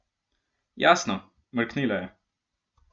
Jasno, mrknila je.